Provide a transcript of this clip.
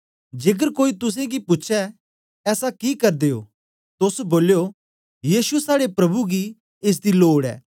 जेकर कोई तोसें गी पूछै ऐसा कि करदे ओ तोस बोलयो यीशु साड़े प्रभु गी एस दी लोड ऐ ते ओ तौलै गै उसी इत्थैं पेजी ओड़गन